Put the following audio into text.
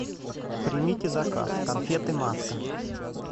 примите заказ конфеты маска